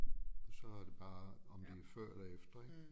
Og så er det bare om de er før eller efter ik